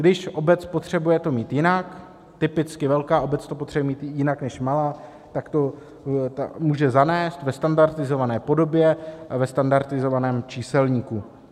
Když obec potřebuje to mít jinak, typicky velká obec to potřebuje mít jinak než malá, tak to může zanést ve standardizované podobě a ve standardizovaném číselníku.